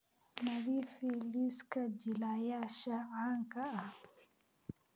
nadiifi liiska jilayaasha caanka ah